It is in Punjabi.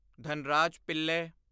ਧਨਰਾਜ ਪਿੱਲੇ